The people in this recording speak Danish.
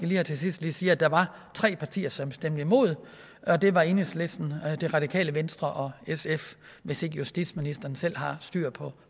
her til sidst sige at der var tre partier som stemte imod og det var enhedslisten det radikale venstre og sf hvis ikke justitsministeren selv har styr på